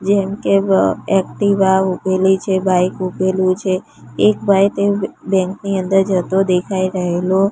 જેમકે અ એક્ટિવા ઉભેલી છે બાઇક ઉભેલું છે એક ભાઈ તે બેંક ની અંદર જતો દેખાય રહેલો--